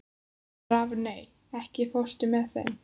Rafney, ekki fórstu með þeim?